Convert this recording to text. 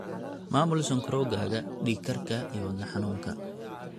maamul sonkorowgaaga, dhiig karka, iyo wadne xanuunka.